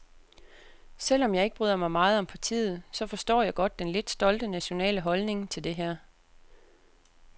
Selvom jeg ikke bryder mig meget om partiet, så forstår jeg godt den lidt stolte nationale holdning til det her.